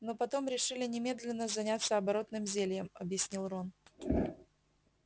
но потом решили немедленно заняться оборотным зельем объяснил рон